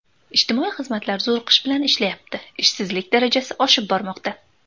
Ijtimoiy xizmatlar zo‘riqish bilan ishlayapti, ishsizlik darajasi oshib bormoqda.